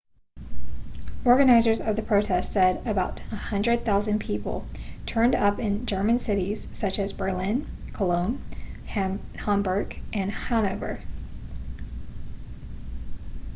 organisers of the protest said about 100,000 people turned up in german cities such as berlin cologne hamburg and hanover